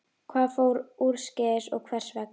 Hvað fór úrskeiðis og hvers vegna?